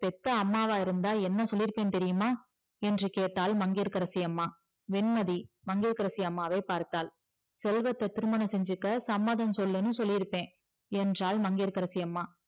பெத்த அம்மாவா இருந்தா என்ன சொல்லிருப்ப தெரியுமா என்று கேட்டால் மங்கையகரசி அம்மா வெண்மதி மங்கியகரசி அம்மாவை பார்த்தால் செல்வத்த திருமணம் செஞ்சிக்க சம்மதம் சொல்லுனு சொல்லிருப்பே என்றால் மங்கையகரசி அம்மா